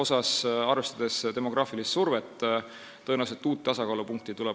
Siin, arvestades demograafilist survet, tuleb tõenäoliselt uut tasakaalupunkti otsida.